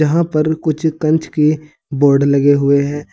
यहां पर कुछ कांच के बोर्ड लगे हुए हैं।